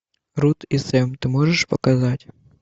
рут и сэм ты можешь показать